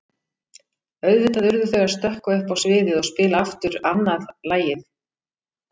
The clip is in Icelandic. Auðvitað urðu þau að stökkva upp á sviðið og spila aftur annað lagið.